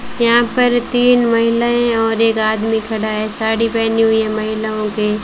यहां पर तीन महिलाएं और एक आदमी खड़ा है साड़ी पहना हुई है महिलाओं के--